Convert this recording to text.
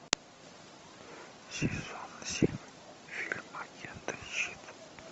сезон семь фильм агенты щит